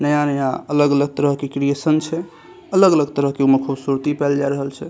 नया-नया अलग-अलग तरह के क्रिएशन छै अलग-अलग तरह के ओय मे खूबसूरती पाए जाए रहल छै।